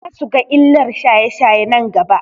Za su ga illar shaye-shaye nan gaba.